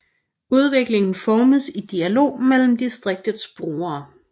Udviklingen formes i dialog mellem distriktets brugere